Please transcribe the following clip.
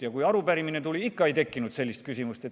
Ja kui arupärimine tuli, ikka ei tekkinud sellist küsimust.